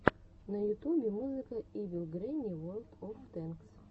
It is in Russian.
на ютубе музыка ивил грэнни ворлд оф тэнкс